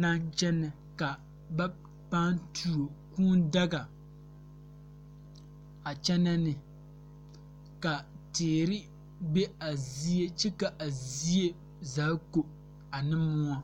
naŋ kyɛnɛ ka ba pãã tuo kūū daga a kyɛnɛ ne ka teere be a zie kyɛ ka a zie zaa ko ane moɔ.